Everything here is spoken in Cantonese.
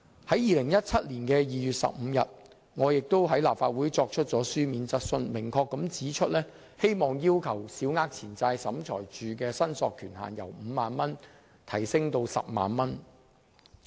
在2017年2月15日，我亦在立法會提出書面質詢，明確指出希望審裁處的司法管轄權限由5萬元提高至10萬元。